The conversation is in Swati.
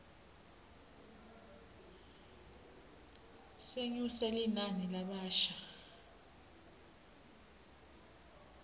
senyuse linani lalabasha